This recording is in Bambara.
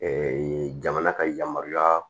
jamana ka yamaruya